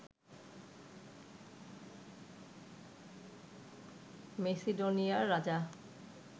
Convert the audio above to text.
মেসিডোনিয়ার রাজা